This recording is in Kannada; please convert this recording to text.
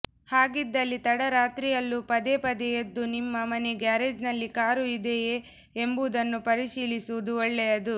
ಹಾಗಿದ್ದಲ್ಲಿ ತಡ ರಾತ್ರಿಯಲ್ಲೂ ಪದೇ ಪದೇ ಎದ್ದು ನಿಮ್ಮ ಮನೆ ಗ್ಯಾರೇಜ್ ನಲ್ಲಿ ಕಾರು ಇದೆಯೇ ಎಂಬುದನ್ನು ಪರಿಶೀಲಿಸುವುದು ಒಳ್ಳೆಯದು